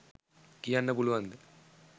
කියන්න පුළුවන්ද?